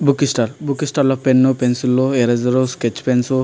Book stall . Book stall లో pens pencils eraser sketch pencils --